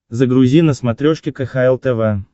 загрузи на смотрешке кхл тв